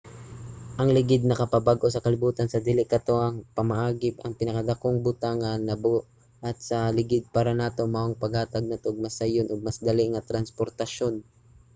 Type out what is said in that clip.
ang ligid nakapabag-o sa kalibutan sa dili katuohang pamaagi. ang pinakadakong butang nga nabuhat sa ligid para nato mao ang paghatag nato og mas sayon ug mas dali nga transportasyon